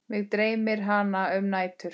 Mig dreymir hana um nætur.